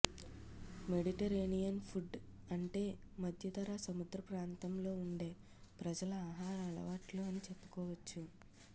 Mediterranean food అంటే మధ్యధరా సముద్ర ప్రాంతంలో ఉండే ప్రజల ఆహార అలవాట్లు అని చెప్పుకోవచ్చు